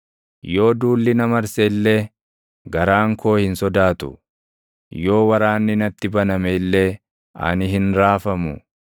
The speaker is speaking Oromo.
Yoo duulli na marse illee, garaan koo hin sodaatu; yoo waraanni natti baname illee ani hin raafamu.